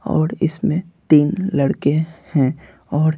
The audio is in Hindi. और इसमें तीन लड़के हैं और--